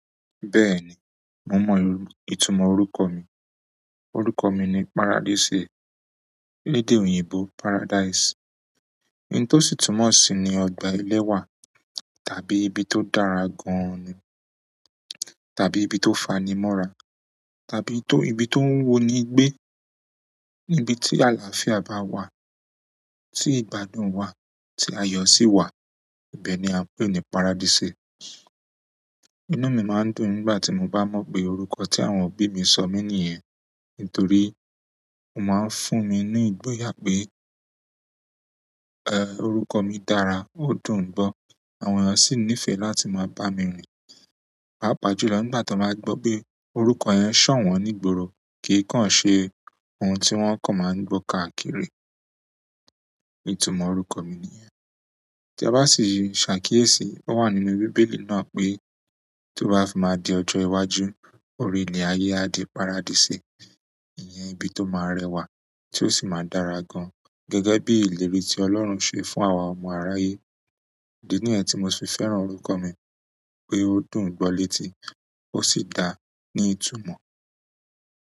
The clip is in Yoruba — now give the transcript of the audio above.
Bẹ́ẹ̀ni, mo mọ ìtumọ̀ orúkọ mi. Orúkọ mi ni Paradise. Ní edé òyìnbó paradise. Ohun tó sì tún mọ̀ sí ní ọgbà eléwà, tàbí ibi tó dára gan-an nì, tàbí ibi tó fani mọ́ra, tàbí tó-- ibi tó ń wu ni gbé. Ibi tí àlàáfíà bá wà, tí ìgbádùn wà, tí ayọ̀ sì wà, ibẹ̀ ni a ń pè ní paradise. Inú mi máa ń dùn nígbà tí mo bá mọ̀ pé orúkọ tí àwọn òbí mi sọ mí ní iyẹn. Nítorí ó máa ń fún mi i ni ìgboyà pé, eh, orúkọ mi dára, ó dùn gbọ, àwọn èèyàn sì nífẹ̀ẹ́ láti máa bá mi rin. Páápàá jùlọ nígbà tí won bá gbọ́ pé orúkọ yẹn ṣọ̀wọ́n nígboro, kì í kàn ṣe ohun tí wọ́n kàn máa ń gbọ́ káàkiri. Ìtumọ̀ orúkọ mi nìyẹn. Tí a bá sì yí ṣàkíyèsí, ó wà nínú Bíbélì náà pé tó bá fi máa di ọjọ́ iwájú, orílẹ̀ ayé á di paradise. Ìyẹn ibi tó máa rẹwà, tí ó sì máa dára gan-an, gẹ́gẹ́ bí ìlérí tí Ọlọ́run ṣe fún àwa ọmọ aráyé. Ìdí nìyẹn tí mo fi fẹ́ràn orúkọ mi pé ó dùn gbọ létí, ó sì dára ní ìtumọ̀.